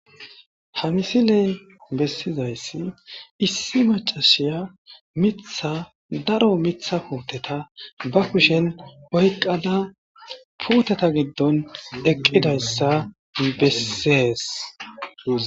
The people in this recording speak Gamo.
Ha misiley bessizayssi issi macashiya mitha daro mitha puuteta ba kushen oyqqada puuteta giddon eqqidayssa bessees.